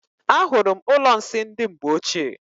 Ahụrụ m ụlọ nsị ndị mgbe ochie.